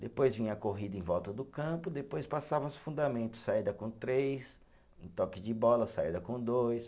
Depois vinha a corrida em volta do campo, depois passava os fundamentos, saída com três, toque de bola, saída com dois.